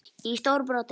í stóru broti.